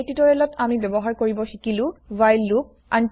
এই টিউটোৰিয়েল ত আমি ব্যৱহাৰ কৰিব শিকিলো হোৱাইল লুপ